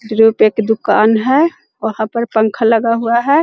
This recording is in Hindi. द्रुप एक दुकान है वहाँ पर पंखा लगा हुआ है।